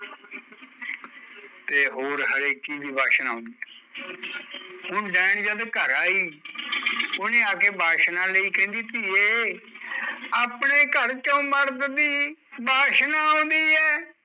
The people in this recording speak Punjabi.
ਤੇ ਹੋਰ ਹਰੇਕ ਚੀਜ਼ ਦੀ ਵਾਸ਼ਨਾ ਆਉਂਦੀ ਐ ਹੁਣ ਡੈਣ ਜਦ ਘਰ ਆਈ ਉਹਨੇ ਆ ਕੇ ਵਾਸ਼ਨਾ ਲਈ ਕਹਿੰਦੀ ਧੀਏ ਅਪਣੇ ਘਰ ਚੋਂ ਮਰਦ ਦੀ ਵਾਸ਼ਨਾ ਆਉਂਦੀ ਐ